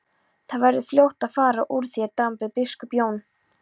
Þá verður fljótt að fara úr þér drambið, biskup Jón!